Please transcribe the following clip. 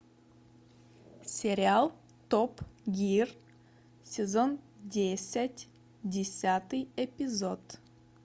сериал топ гир сезон десять десятый эпизод